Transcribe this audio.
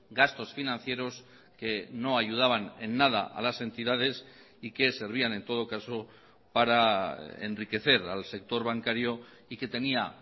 gastos financieros que no ayudaban en nada a las entidades y que servían en todo caso para enriquecer al sector bancario y que tenía